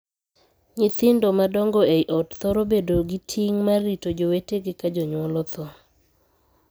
Nyithindo madongo ei ot thoro bedo gi ting' mar rito jowetege ka jonyuol othoo.